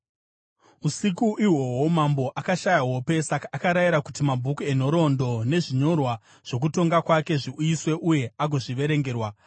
Usiku ihwohwo mambo akashaya hope; saka akarayira kuti mabhuku enhoroondo nezvinyorwa zvokutonga kwake zviuyiswe uye agozviverengerwa.